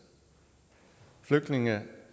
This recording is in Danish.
og flygtninge